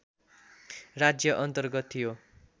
राज्य अन्तर्गत थियो